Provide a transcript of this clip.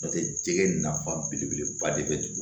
N'o tɛ jɛgɛ nafa belebeleba de bɛ